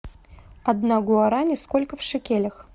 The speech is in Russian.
одна гуарани сколько в шекелях